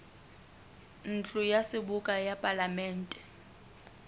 ntlo ya seboka ya palamente